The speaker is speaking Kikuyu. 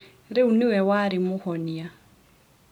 Rĩu nĩwe warĩ mũhonia.